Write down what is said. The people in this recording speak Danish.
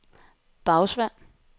Bagsværd